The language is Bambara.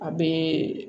A bɛ